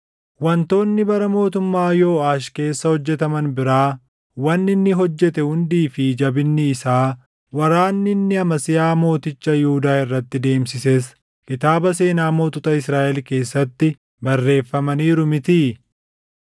Wantoonni bara mootummaa Yooʼaash keessa hojjetaman biraa, wanni inni hojjete hundii fi jabinni isaa, waraanni inni Amasiyaa mooticha Yihuudaa irratti deemsises kitaaba seenaa mootota Israaʼel keessatti barreeffamaniiru mitii?